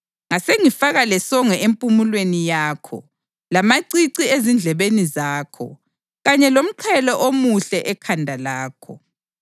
ngasengifaka lesongo empumulweni yakho, lamacici ezindlebeni zakho kanye lomqhele omuhle ekhanda lakho.